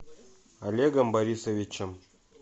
олегом борисовичем